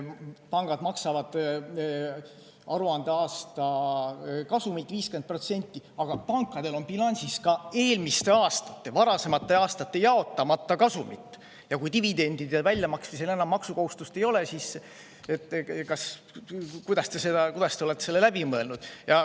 Pangad maksavad aruandeaasta kasumilt 50%, aga pankadel on bilansis ka eelmiste, varasemate aastate jaotamata kasumit, ja kui dividendide väljamaksmisel enam maksukohustust ei ole, siis kuidas see on läbi mõeldud.